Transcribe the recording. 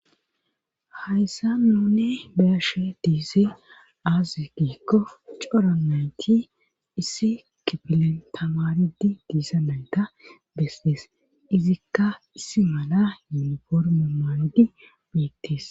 Hayssa nuni beashe diise aaze giikko coro nayti issi kipilen tamaridi diisa nayta bestis izikka issi mala yuniforme maandi beettis.